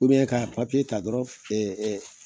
ka ta dɔrɔn ɛɛ